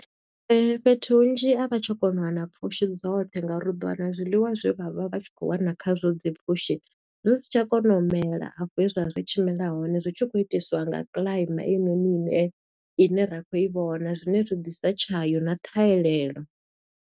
Fhethu hunzhi a vha tsha kona u wana pfushi dzoṱhe, nga uri u ḓo wana zwiḽiwa zwe vha vha vha tshi khou wana kha zwo dzi pfushi, zwi si tsha kona u mela a fho hezwa zwi tshi mela hone. Zwi tshi khou itiswa nga kiḽaima eyinoni ine, ine ra kho i vhona zwine zwi ḓisa tshayo na ṱhahelelo.